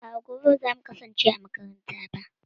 A'a, gobe ba za mu kasance a makaranta ba.